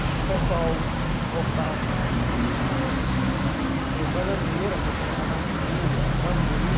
Então o pessoal cortava bananeira para colocar na rua, bambu.